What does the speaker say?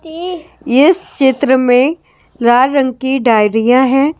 ईह इस चित्र में लाल रंग की डायरियां हैं ।